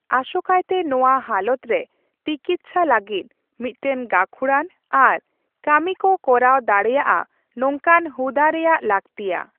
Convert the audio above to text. ᱟᱥᱚᱠᱟᱭᱛᱮ ᱱᱚᱣᱟ ᱦᱟᱞᱚᱛ ᱨᱮ ᱛᱤᱠᱤᱪᱪᱷᱟ ᱞᱟᱹᱜᱤᱫ ᱢᱤᱫᱴᱟᱝ ᱜᱟᱠᱷᱩᱲᱟᱱ ᱟᱨ ᱠᱟᱢᱤ ᱠᱚ ᱠᱚᱨᱟᱣ ᱫᱟᱲᱮᱭᱟᱜᱼᱟ ᱱᱚᱝᱠᱟᱱ ᱦᱩᱫᱟᱹ ᱨᱮᱭᱟᱜ ᱞᱟᱠᱛᱤᱭᱟ ᱾